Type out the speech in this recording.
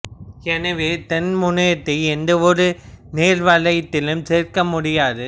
எனவே தென் முனையத்தை எந்தவொரு நேர வலயத்திலும் சேர்க்க முடியாது